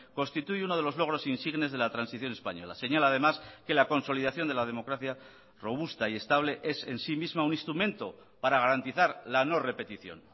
constituye uno de los logros insignes de la transición española señala además que la consolidación de la democracia robusta y estable es en sí misma un instrumento para garantizar la no repetición